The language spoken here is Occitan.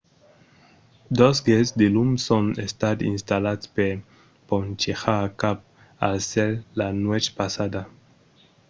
dos gets de lum son estats installats per ponchejar cap al cèl la nuèch passada